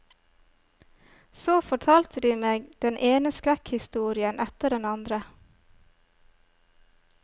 Så fortalte de meg den ene skrekkhistorien etter den andre.